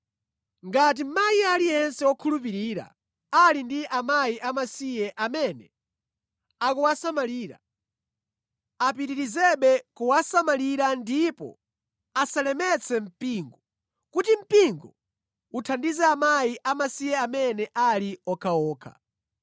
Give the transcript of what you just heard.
Ngati mayi aliyense wokhulupirira ali ndi akazi amasiye amene akuwasamalira, apitirizebe kuwasamalira ndipo asalemetse mpingo, kuti mpingo uthandize akazi amasiye amene ali okhaokha.